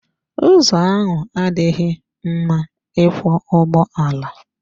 Ụzọ ahụ adịghị mma ịkwọ ụgbọala.